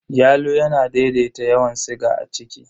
Yalo yana daidaita yawan siga a jiki.